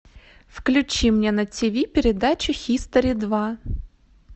включи мне на тиви передачу хистори два